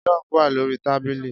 Jug wà lórí tábìlì